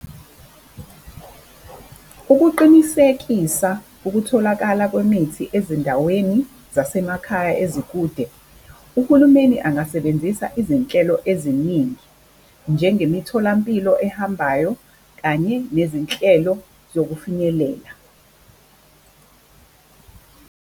Ukuqinisekisa ukutholakala kwemithi ezindaweni zasemakhaya ezikude, uhulumeni angasebenzisa izinhlelo eziningi njengemitholampilo ehambayo, kanye nezinhlelo zokufinyelela.